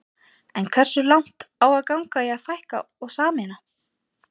En hversu langt á að ganga í að fækka og sameina?